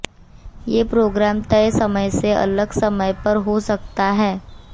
ये प्रोग्राम तय समय से अलग समय पर हो सकता है